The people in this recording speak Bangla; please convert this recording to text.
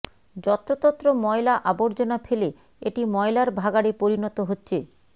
যত্রতত্র ময়লা আবর্জনা ফেলে এটি ময়লার ভাগাড়ে পরিণত হচ্ছে